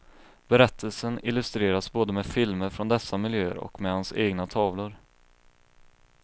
Berättelsen illustreras både med filmer från dessa miljöer och med hans egna tavlor.